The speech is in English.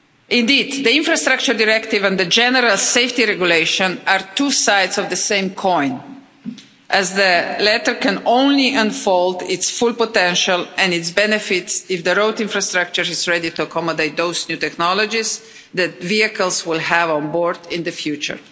Indeed, the Infrastructure Directive and the General Safety Regulation are two sides of the same coin, as the latter can only unfold its full potential and its benefits if the road infrastructure is ready to accommodate those new technologies that vehicles will have on board in the future.